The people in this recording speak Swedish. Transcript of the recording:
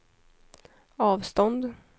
avstånd